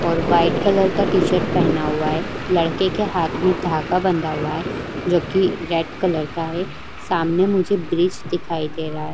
और white colour का T-shirt पहना हुआ है। लड़के के हाथ में धागा बांधा हुआ है जो कि रेड कलर का है। सामने मुझे ब्रिज दिखाई दे रहा --